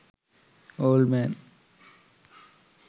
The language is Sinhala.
old man